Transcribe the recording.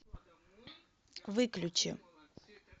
выключи